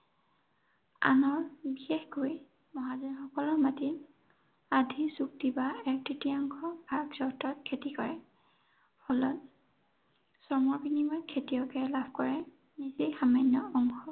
আনৰ বিশেষকৈ মহাজনসকলৰ মাটি, আধি চুক্তি বা এক তৃতীয়াংশ ভাগ চৰ্তত খেতি কৰে। ফলত শ্ৰমৰ বিনিময়ত খেতিয়কে লাভ কৰে, নিচেই সামান্য় অংশ